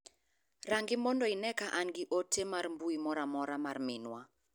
Rang'i mondo ine ka an gi ote mar mbui moro amora mar minwa.